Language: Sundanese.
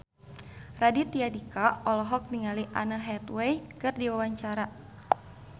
Raditya Dika olohok ningali Anne Hathaway keur diwawancara